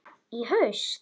Í haust?